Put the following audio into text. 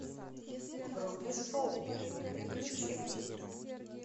вруби шоу время приключений